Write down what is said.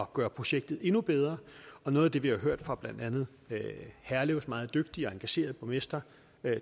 at gøre projektet endnu bedre noget af det vi har hørt fra blandt andet herlevs meget dygtige og engagerede borgmester